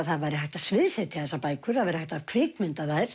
það væri hægt að sviðssetja þessar bækur það væri hægt að kvikmynda þær